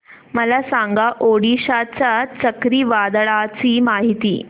मला सांगा ओडिशा च्या चक्रीवादळाची माहिती